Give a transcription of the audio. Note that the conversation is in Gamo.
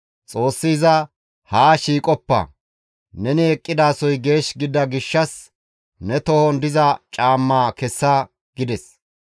Xoossi iza, «Haa shiiqoppa; neni eqqidasoy geesh gidida gishshas ne tohon diza caammaa kessa» gides.